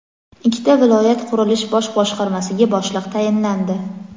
Ikkita viloyat qurilish bosh boshqarmasiga boshliq tayinlandi.